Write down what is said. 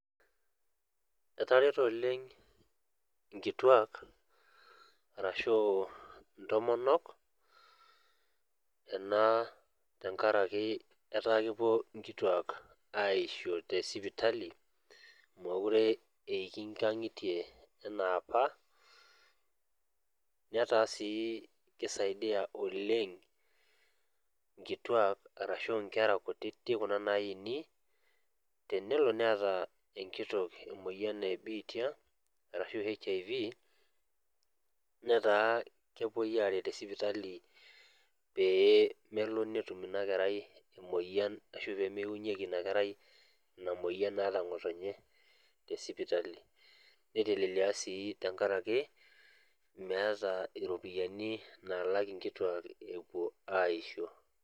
Etareto oleng' nkituak atashuu intomonok enaa tengaraki etaa kepuo inkituak aisho tesipitali mokure eiki ingang'itie anaapa. Netaa sii keisaidia oleng' nkituak arashu nkera kutiti kuna naaini tenelo enkitok emuoyian ebiitia arashu HIV netaa kepuoi aret tesipitali pee melo netum inakerai emuoyian ashu peemeunyeki inakerai ina muoyan naata ngotonye tesipitali. Neitelelia sii tengarake meeta iropiyani naalak inkituaa epuo aisho.